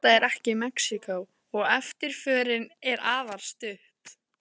En þetta er ekki Mexíkó, og eftirförin er afar stutt.